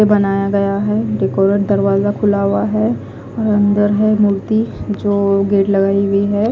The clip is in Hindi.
से बनाया गया है डेकोरेट दरवाजा खुला हुआ है और अंदर है मूर्ति जो गेट लगाई हुई है।